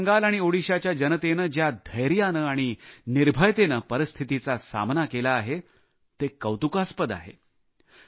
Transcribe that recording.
पश्चिम बंगाल आणि ओदिशाच्या जनतेने ज्या धैर्याने आणि निर्भयतेने परिस्थितीचा सामना केला आहे ते कौतुकास्पद आहे